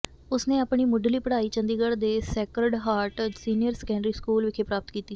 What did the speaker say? ਉਸ ਨੇ ਆਪਣੀ ਮੁੱਢਲੀ ਪੜ੍ਹਾਈ ਚੰਡੀਗੜ੍ਹ ਦੇ Sacred Heart Senior Secondary School ਵਿੱਚ ਪ੍ਰਾਪਤ ਕੀਤੀ